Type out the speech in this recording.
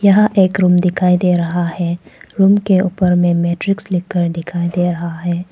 यहां एक रूम दिखाई दे रहा है रूम के ऊपर में मैट्रिक्स लिखकर दिखाई दे रहा है।